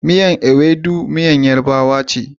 Miyar Iwedu miyar yarabawa ce.